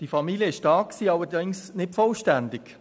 Die Familie war da, allerdings nicht vollständig.